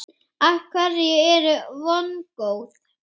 Af hverju ertu vongóð?